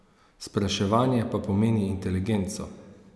Spraševanje pa pomeni inteligenco.